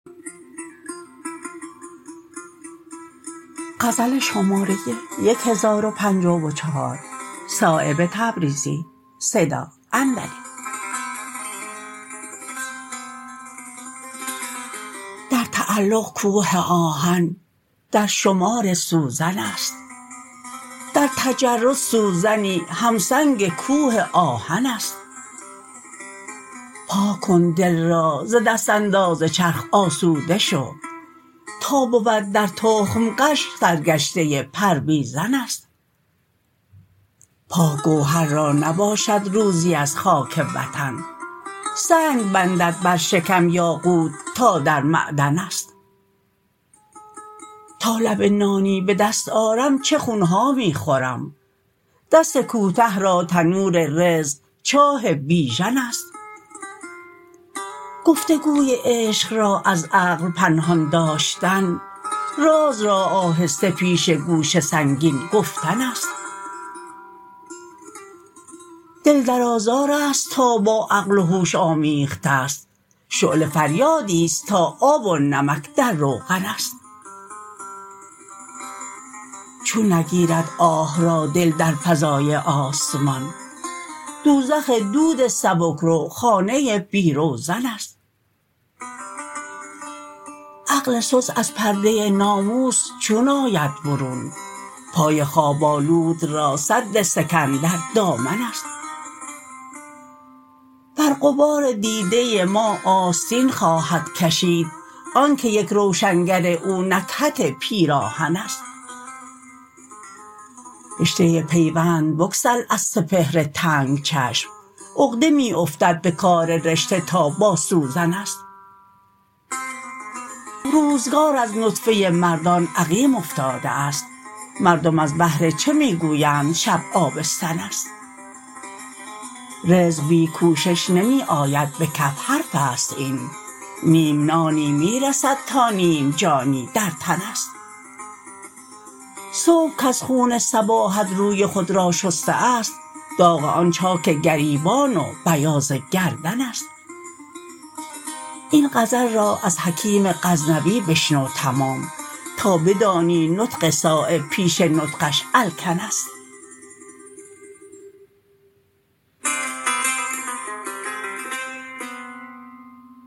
در تعلق کوه آهن در شمار سوزن است در تجرد سوزنی همسنگ کوه آهن است پاک کن دل را ز دست انداز چرخ آسوده شو تا بود در تخم غش سر گشته پرویزن است پاک گوهر را نباشد روزی از خاک وطن سنگ بندد بر شکم یاقوت تا در معدن است تا لب نانی به دست آرم چه خونها می خورم دست کوته را تنور رزق چاه بیژن است گفتگوی عشق را از عقل پنهان داشتن راز را آهسته پیش گوش سنگین گفتن است دل در آزارست تا با عقل و هوش آمیخته است شعله فریادی است تا آب و نمک در روغن است چون نگیرد آه را دل در فضای آسمان دوزخ دود سبکرو خانه بی روزن است عقل سست از پرده ناموس چون آید برون پای خواب آلود را سد سکندر دامن است بر غبار دیده ما آستین خواهد کشید آن که یک روشنگر او نکهت پیراهن است رشته پیوند بگسل از سپهر تنگ چشم عقده می افتد به کار رشته تا با سوزن است روزگار از نطفه مردان عقیم افتاده است مردم از بهر چه می گویند شب آبستن است رزق بی کوشش نمی آید به کف حرف است این نیم نانی می رسد تا نیم جانی در تن است صبح کز خون صباحت روی خود را شسته است داغ آن چاک گریبان و بیاض گردن است این غزل را از حکیم غزنوی بشنو تمام تا بدانی نطق صایب پیش نطقش الکن است